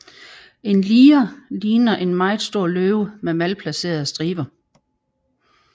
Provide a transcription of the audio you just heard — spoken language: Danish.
En liger ligner en meget stor løve med malplacerede striber